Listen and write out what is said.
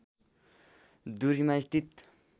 दूरीमा स्थित